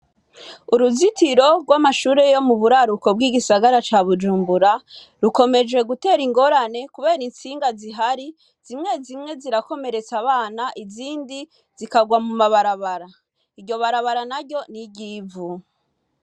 Uruzitiro rw'amashure yo muburaruko bw'igisagara ca Bujumbura rukomeje gutera ingorane kubera intsinga zihari, zimwe zimwe zirakomeretsa abana izindi zikagwa muma barabara, iryo barabara naryo ni iryivu.